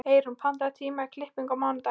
Eyrún, pantaðu tíma í klippingu á mánudaginn.